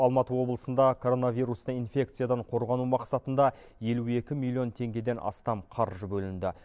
алматы облысында коронавирусный инфекциядан қорғану мақсатында елу екі миллион теңгеден астам қаржы бөлінді